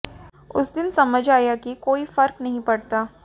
उस दिन समझ आया कि कोई फर्क नहीं पड़ता